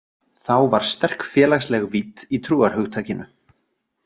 Þá var sterk félagsleg vídd í trúarhugtakinu.